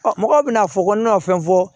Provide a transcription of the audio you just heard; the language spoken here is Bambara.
mɔgɔw bɛna fɔ ko n'a fɛn fɔ